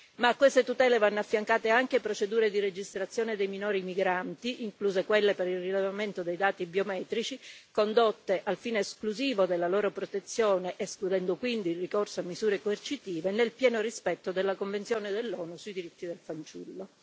A queste tutele vanno affiancate anche procedure di registrazione dei minori migranti, incluse quelle per il rilevamento dei dati biometrici, condotte al fine esclusivo della loro protezione, escludendo quindi il ricorso a misure coercitive, nel pieno rispetto della convenzione dell'ONU sui diritti del fanciullo.